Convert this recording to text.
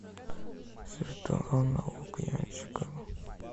светлана лукьянчикова